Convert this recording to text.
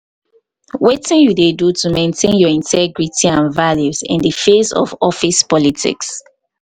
wetin you dey do to do to maintain your integrity and values in di face of office politics.